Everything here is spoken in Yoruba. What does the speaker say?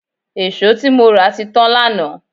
È̀ṣó tí mo rà ti tán lánàá